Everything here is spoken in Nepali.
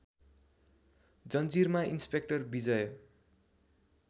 जंजीरमा इन्स्पेक्टर विजय